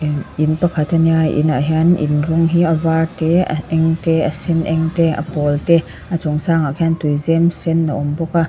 i in pakhat ania inah hian in rawng hi a var te a eng te a sen eng te a pawl te a chung sangah khian tuizem sen a awm bawk a.